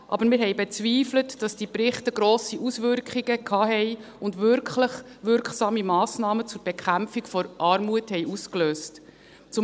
Aber wir bezweifeln, dass die Berichte grosse Auswirkungen gehabt und wirklich wirksame Massnahmen zur Bekämpfung der Armut ausgelöst haben.